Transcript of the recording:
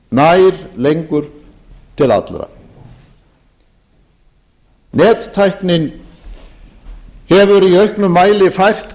nær lengur til allra nettæknin hefur í auknum mæli fært